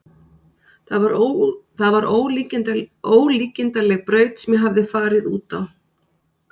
Það var ólíkindaleg braut sem ég hafði farið út á.